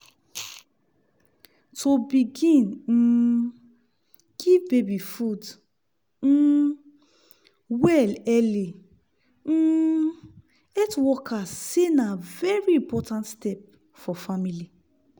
to begin um give baby food um well early um health workers say na very important step for family.